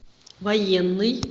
военный